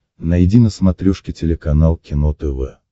найди на смотрешке телеканал кино тв